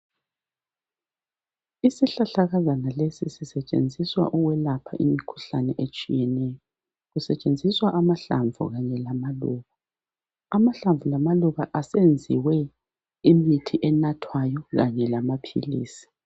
Isihlahlakazana lesi sisetshenziswa ukwelapha imikhuhlane etshiyeneyo. Kusetshenziswa amahlamvu kanye lamaluba. Amahlamvu lamaluba asenziwe imithi enathwayo kanye lamaphilisi.